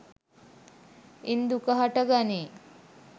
ඉන් දුක හට ගනී.